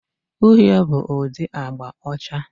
Uhie bụ ụdị agba ucha.